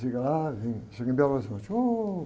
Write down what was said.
Chega lá, vem, chega em Belo Horizonte. Ôh...